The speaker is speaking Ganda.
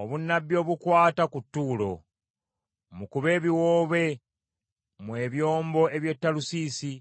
Obunnabbi obukwata ku Tuulo: Mukube ebiwoobe, mmwe ebyombo by’e Talusiisi,